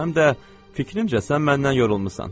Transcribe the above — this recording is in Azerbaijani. Həm də fikrimcə sən məndən yorulmusan.